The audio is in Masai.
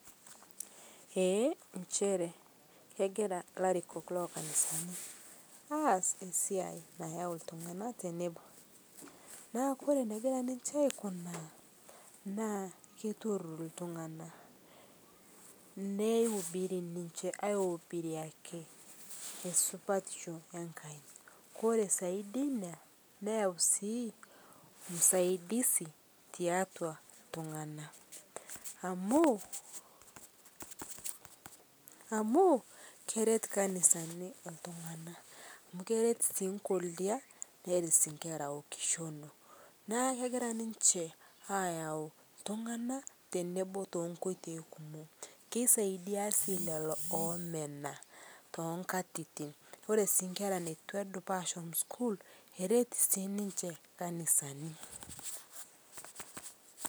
Ee nchere kegiraa larikok lokanisanii aas siai nayau ltung'ana teneboo naa Kore negiraa ninshe aikunaa naa keiturur ltung'ana neubiri ninshe aubiriakii ee supatisho enkai, kore zaidi einia neyau sii usaidizi teatua tung'ana amu keret kanisanii ltung'ana amu keret sii nkolia, neret sii nkera okishonoo naa kegiraa ninshee ayau ltung'ana tenebo tenkoitei kumoo, keisaidia sii leloo omenaa tonkatitin, Kore sii nkera netu eduo ashom sukuul keret sii ninshe kanisani.